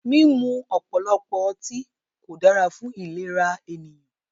Mímú ọ̀pọ̀lọpọ̀ ọtí kò dára fún ìlera ènìyàn.